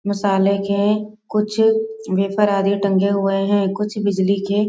मसाले के कुछ वेपर आदि टंगे हुए हैं कुछ बिजली के --